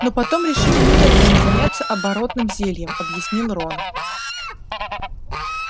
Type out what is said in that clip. но потом решили немедленно заняться оборотным зельем объяснил рон